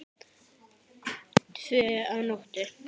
Tvö að nóttu